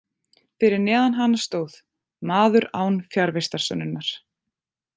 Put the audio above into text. Fyrir neðan hana stóð: Maður án fjarvistarsönnunar.